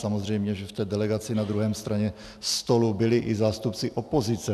Samozřejmě, že v té delegaci na druhé straně stolu byli i zástupci opozice.